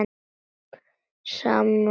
Sama viðtal við Baldur.